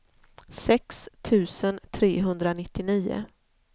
sex tusen trehundranittionio